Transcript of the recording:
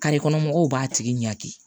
kɔnɔ mɔgɔw b'a tigi ɲangiki